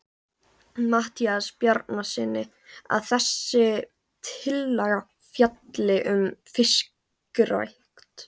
Matthíasi Bjarnasyni, að þessi tillaga fjalli um fiskrækt.